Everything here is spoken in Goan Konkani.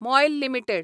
MOIL limited